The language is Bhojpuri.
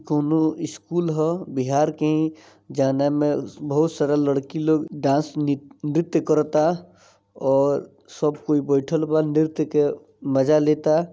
कौनो स्कूल हा बिहार के ही जवना में बहुत सारा लडकी लोग डांस नृत्य करता और सब कोई बैठल बा नृत्य के मजा लेता।